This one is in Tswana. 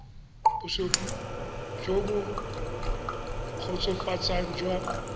bosupi jo bo kgotsofatsang jwa